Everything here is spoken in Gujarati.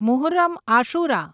મુહર્રમ આશુરા